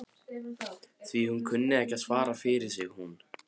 Því hún kunni enn að svara fyrir sig hún